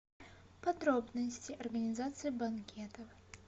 подробности организации банкетов